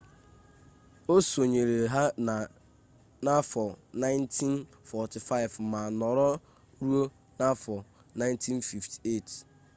o sonyere ha na 1945 ma nọrọ ruo 1958